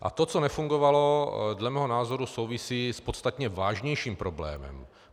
A to, co nefungovalo, dle mého názoru souvisí s podstatně vážnějším problémem.